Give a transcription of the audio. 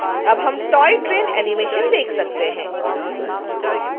अब हम toy train animation देख सकते हैं